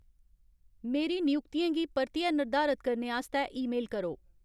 मेरी नयुक्तियें गी परतियै र्निर्धारत करने आस्तै ईमेल करो